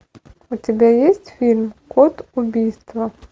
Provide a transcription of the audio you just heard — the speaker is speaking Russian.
у тебя есть фильм код убийства